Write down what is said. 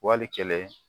Wali kɛlɛ